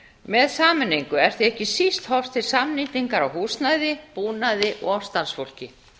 með sameiningu er því ekki síst horft til samnýtingar á húsnæði búnaði og starfsfólki